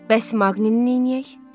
Bəs Maqninin neyləyək?